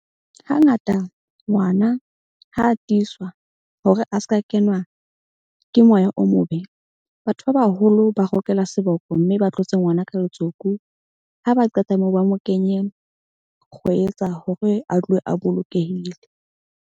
Hangata ngwana ha a tiiswa hore a ska kenwa ke moya o mobe. Batho ba baholo ba rokela seboko. Mme ba tlotse ngwana ka letsoku, ha ba qeta moo, ba mo kenye kgwetsa hore a tlohe a bolokehile.